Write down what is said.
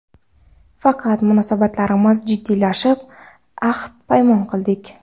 Faqat munosabatlarimiz jiddiylashib, ahd-paymon qildik.